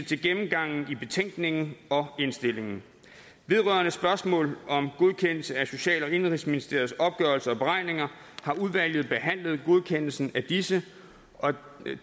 til gennemgangen i betænkningen og indstillingen vedrørende spørgsmål om godkendelse af social og indenrigsministeriets opgørelser og beregninger har udvalget behandlet godkendelsen af disse